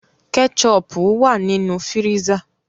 Kétchọpù wà nínu fíríṣà.